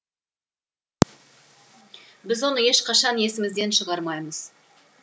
біз оны ешқашан есімізден шығармаймыз